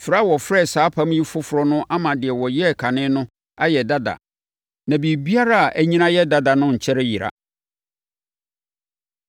Frɛ a wɔfrɛ saa apam yi “Foforɔ” no ama deɛ wɔyɛɛ kane no ayɛ dada; na biribiara a anyini ayɛ dada no nkyɛre yera.